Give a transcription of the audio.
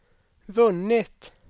vunnit